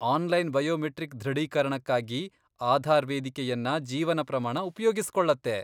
Online biometric ದೃಢೀಕರಣಕ್ಕಾಗಿ ಆಧಾರ್ ವೇದಿಕೆಯನ್ನ ಜೀವನ ಪ್ರಮಾಣ ಉಪ್ಯೋಗಿಸ್ಕೊಳ್ಳತ್ತೆ.